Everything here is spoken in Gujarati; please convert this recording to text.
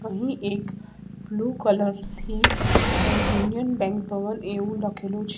અહીં એક બ્લુ કલર થી અ યુનિયન બેન્ક ભવન એવુ લખેલુ છે.